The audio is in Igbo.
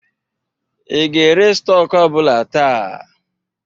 I ga-ere stọk ọ bụla taa?